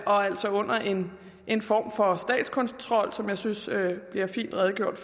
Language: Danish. og altså under en en form for statskontrol som jeg synes der er blevet redegjort